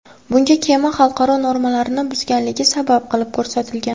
Bunga kema xalqaro normalarni buzganligi sabab qilib ko‘rsatilgan.